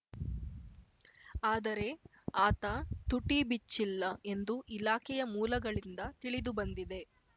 ಆದರೆ ಆತ ತುಟಿ ಬಿಚ್ಚಿಲ್ಲ ಎಂದು ಇಲಾಖೆಯ ಮೂಲಗಳಿಂದ ತಿಳಿದುಬಂದಿದೆ